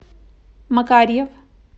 макарьев